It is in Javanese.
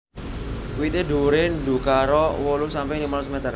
Wité dhuwuré undakara wolu sampe limolas meter